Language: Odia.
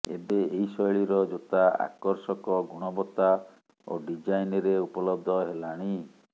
ଏବେ ଏହି ଶୈଳୀର ଜୋତା ଆକର୍ଷକ ଗୁଣବତ୍ତା ଓ ଡିଜାଇନ୍ରେ ଉପଲବ୍ଧ ହେଲାଣି